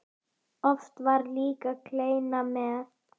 Oft var líka kleina með.